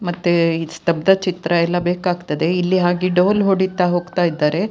ಮತ್ತೆ ಈ ಸ್ತಬ್ದ ಚಿತ್ರ ಎಲ್ಲ ಬೇಕಾಗ್ತದೆ ಇಲ್ಲಿ ಹಾಗೆ ಡೋಲು ಹೊಡಿತಾ ಹೋಗ್ತಾ ಇದ್ದಾರೆ.